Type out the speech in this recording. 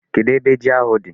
Kedụ ebe ji ahụ dị?